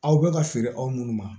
Aw bɛ ka feere aw minnu ma